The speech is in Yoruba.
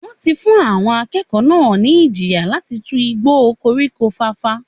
Wọ́n ti fún àwọn akẹ́kọ̀ọ́ náà ní ìjìyà láti tu igbó o koríko fàfà